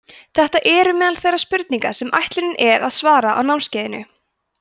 þetta eru meðal þeirra spurninga sem ætlunin er að svara á námskeiðinu